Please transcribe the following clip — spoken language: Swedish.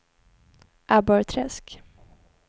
Abborrträsk